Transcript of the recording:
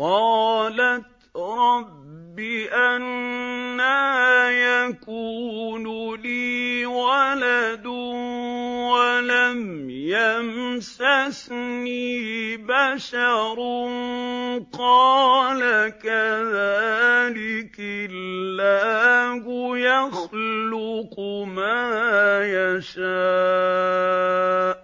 قَالَتْ رَبِّ أَنَّىٰ يَكُونُ لِي وَلَدٌ وَلَمْ يَمْسَسْنِي بَشَرٌ ۖ قَالَ كَذَٰلِكِ اللَّهُ يَخْلُقُ مَا يَشَاءُ ۚ